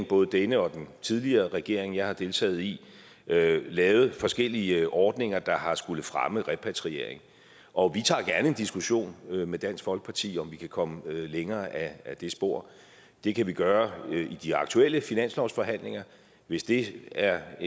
både denne og den tidligere regering jeg har deltaget i lavet forskellige ordninger der har skullet fremme repatriering og vi tager gerne en diskussion med dansk folkeparti om om vi kan komme længere ad det spor det kan vi gøre i de aktuelle finanslovsforhandlinger hvis det er